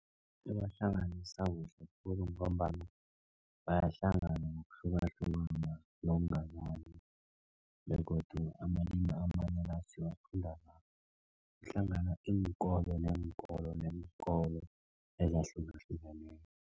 Ibahlanganisa kuhle khulu, ngombana bayahlangana ngokuhlukahlukana begodu amalimi amanye la siwafunda nakuhlangana iinkolo neenkolo, neenkolo ezahlukahlukaneko.